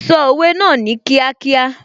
Sọ òwe náà ní kíákíá